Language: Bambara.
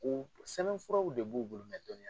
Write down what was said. U sɛbɛn furaw de b'u bolo dɔnni